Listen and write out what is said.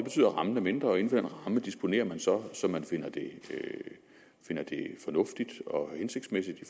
rammen er mindre og inden for den ramme disponerer man så som man finder det fornuftigt og hensigtsmæssigt i